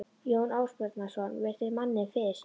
Jón Ásbjarnarson virti manninn fyrir sér.